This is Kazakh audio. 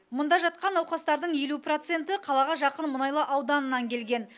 мұнда жатқан науқастардың елу проценті қалаға жақын мұнайлы ауданынан келген